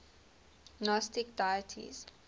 gnostic deities